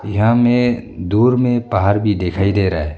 यहां में दूर में पहाड़ भी दिखाई दे रहा है।